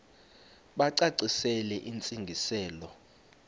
bacacisele intsi ngiselo